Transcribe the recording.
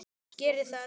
Geri það.